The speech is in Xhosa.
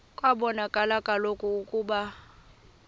kwabonakala kaloku ukuba